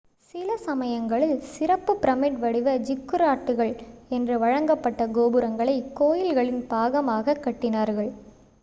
சில சமயங்களில் சிறப்பு பிரமிட் வடிவ ஜிக்குராட்டுகள் என்று வழங்கப்பட்ட கோபுரங்களை கோயில்களின் பாகமாகக் கட்டினார்கள்